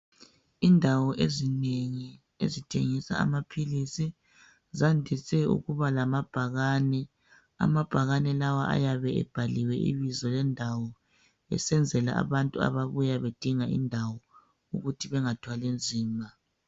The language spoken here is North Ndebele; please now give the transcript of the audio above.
indawo ezinengi ezithengisa amaphilisi zandise ukuba lamabhakane amabhakane lawa ayabe ebhaliwe ibizo lendawo besenzela abantu ababuya bedinga indawo ukuthi bengathwali nzima